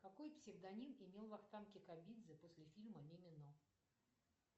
какой псевдоним имел вахтанг кикабидзе после фильма мимино